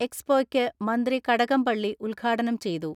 എക്സ്പോയ്ക്ക് മന്ത്രി കടകംപള്ളി ഉദ്ഘാടനം ചെയ്തു.